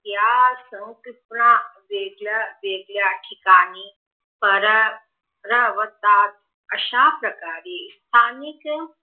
या सौकुन वेगळ्या वेगळ्या ठिकाणी परग्र अवास्तात अश्याप्रकारे स्थानिक